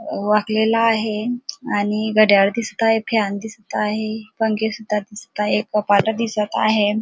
वाकलेला आहे आणि घडयाळ दिसत आहे फॅन दिसत आहे पंखे सुद्धा दिसत आहे कपाटे दिसत आहेत.